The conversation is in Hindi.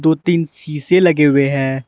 तीन शीशे लगे हुए हैं।